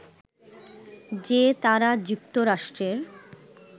যে তারা যুক্তরাষ্ট্রের